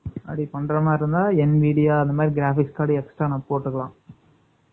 அப்படி பண்ற மாதிரி இருந்தா, என் media , அந்த மாதிரி graphics card , extra நான் போட்டுக்கலாம்